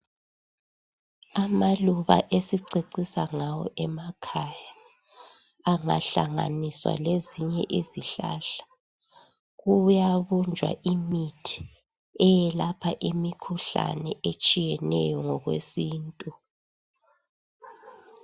Amaluba esicecisa ngawo emakhaya angahlanganiswa lezinye izihlahla kuyabunjwa imithi eyelapha imikhuhlane etshiyeneyo ngokwesintu.